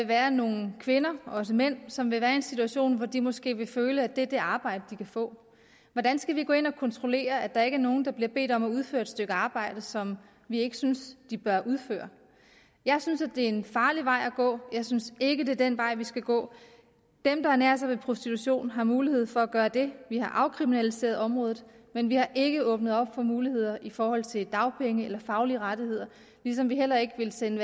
være nogle kvinder og også mænd som vil være i en situation hvor de måske vil føle at det er det arbejde de kan få hvordan skal vi gå ind og kontrollere at der ikke er nogen der bliver bedt om at udføre et stykke arbejde som vi ikke synes de bør udføre jeg synes det er en farlig vej at gå jeg synes ikke det er den vej vi skal gå dem der ernærer sig ved prostitution har mulighed for at gøre det vi har afkriminaliseret området men vi har ikke åbnet op for muligheder i forhold til dagpenge eller faglige rettigheder ligesom vi heller ikke vil sende